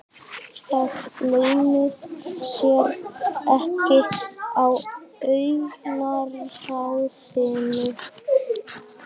Það leynir sér ekki á augnaráðinu.